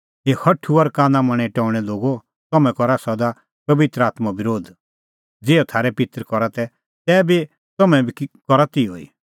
हे हठू और कानामनें टौणैं लोगो तम्हैं करा सदा पबित्र आत्मों बरोध ज़िहअ थारै पित्तर करा तै तम्हैं बी करा तिहअ ई